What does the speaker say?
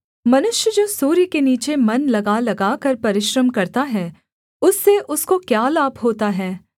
मनुष्य जो सूर्य के नीचे मन लगा लगाकर परिश्रम करता है उससे उसको क्या लाभ होता है